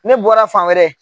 Ne bɔra fan wɛrɛ.